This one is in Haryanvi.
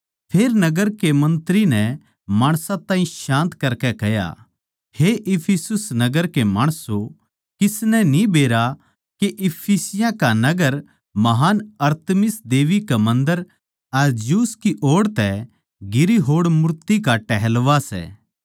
फेर नगर के मन्त्री नै माणसां ताहीं शान्त करकै कह्या हे इफिसुस नगर के माणसों किसनै न्ही बेरा के इफिसियाँ का नगर महान् अरतिमिस देबी के मन्दर अर ज्यूस की ओड़ तै गिरी होड़ मूर्ति का टहलुआ सै